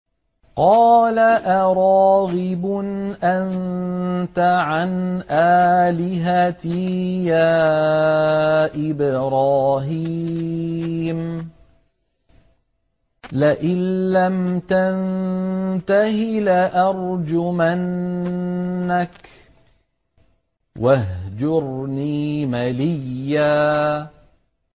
قَالَ أَرَاغِبٌ أَنتَ عَنْ آلِهَتِي يَا إِبْرَاهِيمُ ۖ لَئِن لَّمْ تَنتَهِ لَأَرْجُمَنَّكَ ۖ وَاهْجُرْنِي مَلِيًّا